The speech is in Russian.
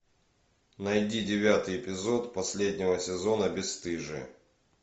найди девятый эпизод последнего сезона бесстыжие